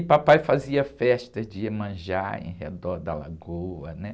E papai fazia festa de iemanjá em redor da lagoa, né?